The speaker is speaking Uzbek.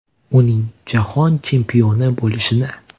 Uning Jahon chempioni bo‘lishini!